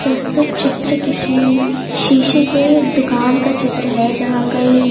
प्रस्तुत चित्र किशी शीशे के दुकान का चित्र है जहाँ कई--